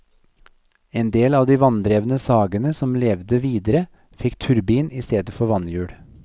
En del av de vanndrevne sagene som levet videre fikk turbin i stedet for vannhjul.